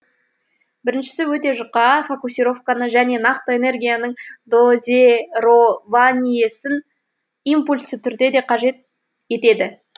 біріншісі өте жұқа фокусировканы және нақты энергияның дозерованиесін импульсті түрде де қажет етеді